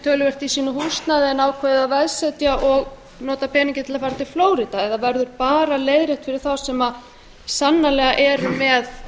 töluvert í sínu húsnæði en ákváðu að veðsetja og nota peninginn til að fara til flórída eða verður bara leiðrétt fyrir þá sem sannanlega eru með